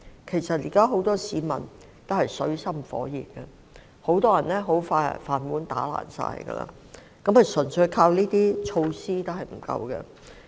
現時，很多市民均陷於水深火熱之中，很多人的"飯碗"快將打碎，單靠這些措施並不足夠。